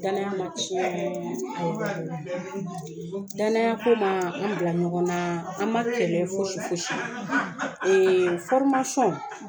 Danaya man tiyɛn danaya ko man an bila ɲɔgɔn na an man kɛlɛ fosi fosi